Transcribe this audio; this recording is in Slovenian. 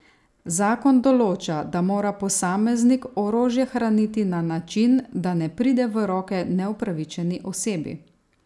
Zakon določa, da mora posameznik orožje hraniti na način, da ne pride v roke neupravičeni osebi.